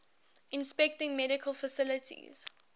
inspecting medical facilities